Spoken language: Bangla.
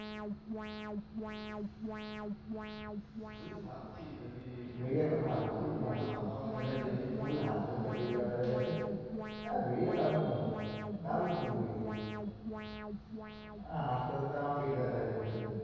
ঐ ভাবছি যদি চাকরি না পাওয়া যায় তাহলে কি করতে হবে ভেড়িয়া খুব ভালো খুব ভালো entertaining full হাসতে হাসতে পেট ব্যথা হয়ে গেছে, ভেড়িয়া দারুন movie দারুন movie ভেড়িয়া হাসতে হাসতে আমার পেট ব্যথা হয়ে গিয়েছিলো।